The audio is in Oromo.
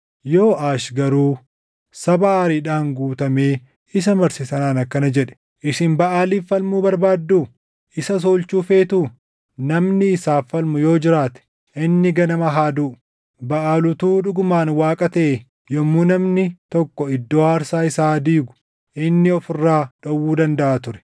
Yooʼaash garuu saba aariidhaan guutamee isa marse sanaan akkana jedhe; “Isin Baʼaaliif falmuu barbaaddu? Isas oolchuu feetuu? Namni isaaf falmu yoo jiraate inni ganama haa duʼu! Baʼaal utuu dhugumaan Waaqa taʼee yommuu namni tokko iddoo aarsaa isaa diigu inni of irraa dhowwuu dandaʼa ture.”